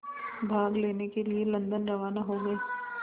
भाग लेने के लिए लंदन रवाना हो गए